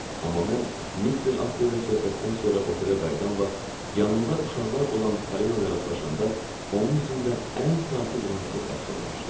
Amma mən Mister Aste ilə söhbətdən sonra otelə qayıdan vaxt, yanında uşaqlar olan Parina ilə rastlaşanda, onun üzündə ən sakit rahatlıq əks olunmuşdu.